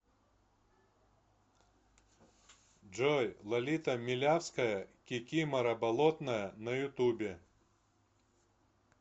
джой лолита милявская кикимора болотная на ютубе